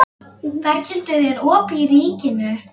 Berghildur, er opið í Ríkinu?